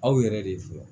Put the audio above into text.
Aw yɛrɛ de fɔ